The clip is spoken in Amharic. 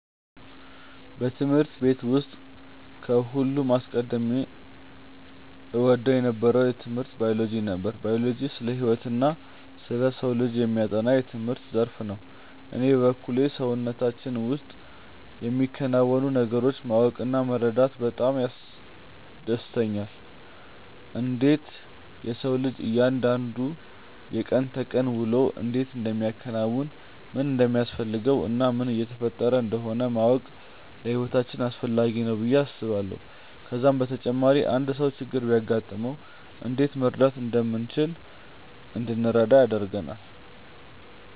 በትምህርት ቤት ውስጥ ከሁሉም አስቀድሜ እወደው የነበረው ትምህርት ባዮሎጂ ነበር። ባዮሎጂ ስለ ህይወትና ስለ ሰው ልጅ የሚያጠና የትምህርት ዘርፍ ነው። እኔ በበኩሌ በሰውነታችን ውስጥ የሚከናወኑ ነገሮችን ማወቅ እና መረዳት በጣም ያስደስተኛል። እንዴት የሰው ልጅ እያንዳንዱ የቀን ተቀን ውሎውን እንዴት እንደሚያከናውን፣ ምን እንደሚያስፈልገው እና ምን እየተፈጠረ እንደሆነ ማወቅ ለህይወታችን አስፈላጊ ነው ብዬ አስባለሁ። ከዛም በተጨማሪ አንድ ሰው ችግር ቢያጋጥመው እንዴት መርዳት እንደምንችል እንድንረዳ ያደርጋል።